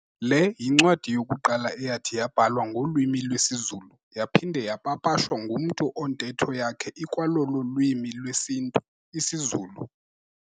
Le yincwadi yokuqala eyathi yabhalwa ngolwimi lwesiZulu, yaphinda yapapashwa ngumntu ontetho yakhe ikwalolo lwimi lwesintu, isiZulu.